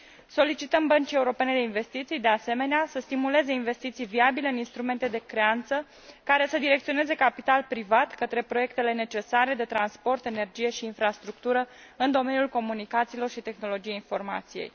Solicităm Băncii Europene de Investiții, de asemenea, să stimuleze investiții viabile în instrumente de creanță, care să direcționeze capital privat către proiectele necesare de transport, energie și infrastructură în domeniul comunicațiilor și tehnologiei informației.